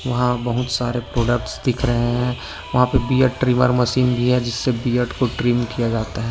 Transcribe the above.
वहा बहुत सारे प्रोडक्टस दिख रहे है वहा पे बियर्ड ट्रीमर मशीन भी है जिससे बियर्ड को ट्रीम किया जाता है।